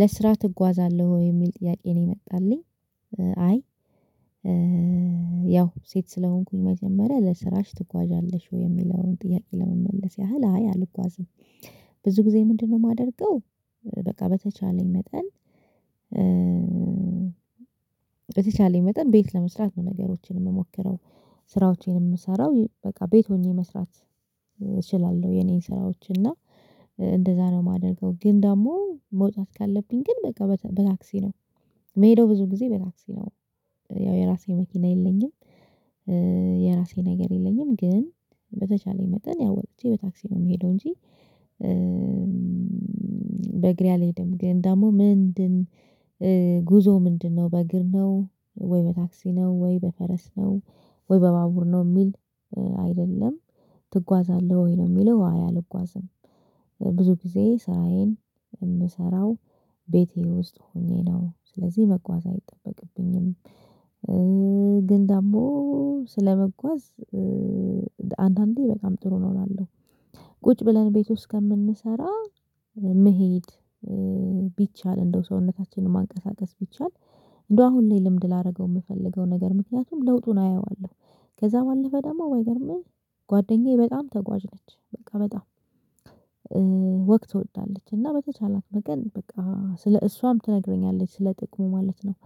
ለስራ ትጓዛለህ ወይ የሚል ጥያቄ ነው የመጣልኝ? አይ ያው ሴት ስለሆንኩኝ መጀመሪያ ለስራሽ ትጓዣለሽ ወይ የሚለውን ጥያቄ ለመመለስ ያህል አይ አልጓዝም። ብዙ ጊዜ ምንድነው የማደርገው? በቃ በተቻለኝ መጠን በተቻለኝ መጠን ቤት ለመስራት ነው ነገሮችን የምሞክረው። ስራዎቼን የምሰራው በቃ ቤት ሆኜ መስራት እችላለሁ የኔን ስራዎች እና እንደዛ ነው እማደርገው ግን ደግሞ መውጣት ካለብኝ ግን በቃ በታክሲ ነው። ምሄደው ብዙ ጊዜ በታክሲ ነው ያው የራሴ መኪና የለኝም። የራሴ ነገር የለኝም ግን በተቻለኝ መጠን ያው ወጥቼ በታክሲ ነው የምሄደው እንጂ። በእግሬ አልሄድም ግን ደግሞ ምንድን ጉዞ ምንድነው በእግር ነው ወይ በታክሲ ነው ወይ በፈረስ ነው ወይ በባቡር ነው የሚል አይደለም ትጓዛለህ ወይ ነው የሚለው አይ አልጓዝም። ብዙ ጊዜ ስራዬን የምሰራው ቤቴ ውስጥ ሆኜ ነው ስለዚህ መጓዝ አይጠበቅብኝም። ግን ደግሞ ስለመጓዝ አንዳንዴ በጣም ጥሩ ነው እላለሁ። ቁጭ ብለን እቤት ውስጥ ከምንሰራ መሄድ ቢቻል እንደው ሰውነታችንን ማንቀሳቀስ ቢቻል እንደው አሁን ላይ ልምድ ላደርገው የምፈልገው ነገር ምክንያቱም ለውጡን አያየዋለሁ። ከዛ ባለፈ ደግሞ ባይገርምህ ጓደኛዬ በጣም ተጓዥ ነች በቃ በጣም ወክ ትወዳለች እና በተቻላት መጠን በቃ ስለ እሷም ትነግረኛለች ስለ ጥቅሙ ማለት ነው።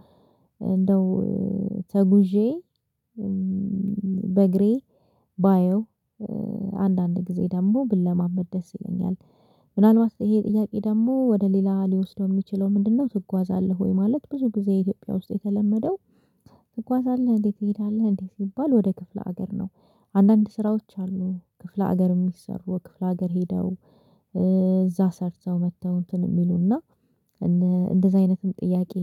እንደው ተጉዤ በእግሬ ባየው አንዳንድ ጊዜ ደግሞ ብለማመድ ደስ ይለኛል። ምናልባት ይሄ ጥያቄ ደግሞ ወደ ሌላ ሊወስደው የሚችለው ምንድነው ትጓዛለህ ወይ ማለት ብዙ ጊዜ ኢትዮጵያ ውስጥ የተለመደው ትጓዛለህ እንዴ? ትሄዳለህ እንዴት ሲባል ወደ ክፍለ ሀገር ነው። አንዳንድ ስራዎች አሉ ክፍለ ሀገር የሚሰሩ ክፍለ ሀገር ሄደው እዛ ሰርተው መጥተው እንትን እሚሉና እንደዚህ አይነትም ጥያቄ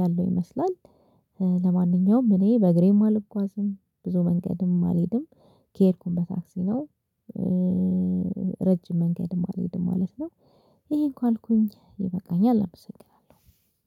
ያለው ይመስላል። ለማንኛውም እኔ በእግሬም አልጓዝም ብዙ መንገድም አልሄድም ከሄድኩም በታክሲ ነው። ረጅም መንገድም አልሄድም ማለት ነው። ይሄ ካልኩኝ ይበቃኛል አመሰግናለሁ